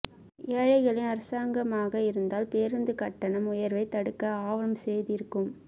ஏழைகளின் அரசாங்கமாக இருந்தால் பேருந்து கட்டண உயர்வை தடுக்க ஆவனம் செய்திருக்கும்